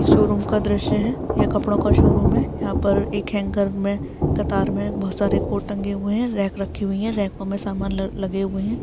Show room का द्रश्य है यह कपड़ों का शोरूम है यहा पर एक हैंगर मे कतार मे बहोत सारे कोर्ट टंगे हुई है रेक रखी हुई है रेको मे समान लगे हुए है।